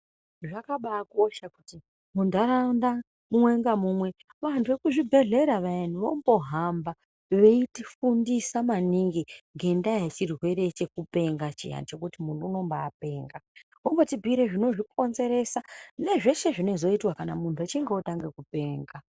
Zvakabaakosha kuti munharaunda umwe ngamumwe vanhu vekuzvibhedhlera vayani vombohamba veitifundisa maningi ngendaa yechirwere chekupenga chiya chekuti munhu unombapenga vombotibhuire zvinozvikonzeresa nezveshe zvinozoitwa kana munhu echinge otanga kupenga.